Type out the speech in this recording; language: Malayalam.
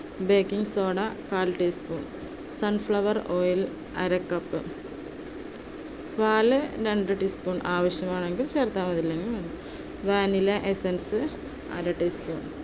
baking soda കാൽ teaspoon, sunflower oil അര cup, പാൽ രണ്ട് teaspoon ആവശ്യമാണെങ്കിൽ ചേർത്താൽ മതി അല്ലെങ്കിൽ വേണ്ട vanilla essence അര teaspoon